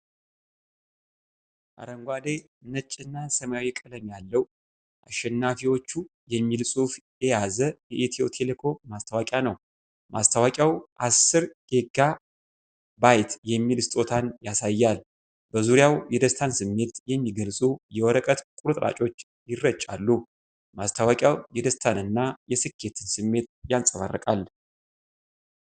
አረንጓዴ፣ ነጭና ሰማያዊ ቀለም ያለው "አሸናፊዎቹ" የሚል ጽሑፍ የያዘ የኢትዮ ቴሌኮም ማስታወቂያ ነው። ማስታወቂያው ዐሥር ጊባ የሚል ስጦታን ያሳያል፤ በዙሪያውም የደስታን ስሜት የሚገልጹ የወረቀት ቁርጥራጮች ይረጫሉ። ማስታወቂያው የደስታንና የስኬትን ስሜት ያንፀባርቃል።